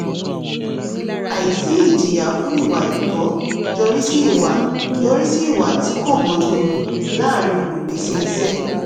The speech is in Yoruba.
àìsí ìjìyà fún ìwà àìtọ́ yọrí sí ìwà yọrí sí ìwà tí kò bójú mu láàrín olùpèsè iṣẹ́.